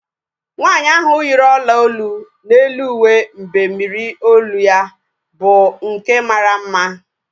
Nwaanyi ahu yiri ọla olu n'elu uwe mbemmiri olu ya bụ nke mara mma